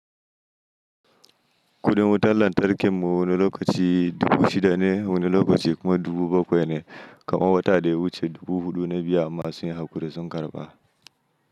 Kudin wutar lantarkin mu wani lokaci dubu shida ne wani lokaci kuma dubu bakwai ne, kamar wata da ya wuce dubu huɗu na biya amma sun yi haƙuri sun karɓa.